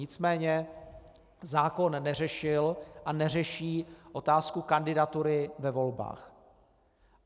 Nicméně zákon neřešil a neřeší otázku kandidatury ve volbách.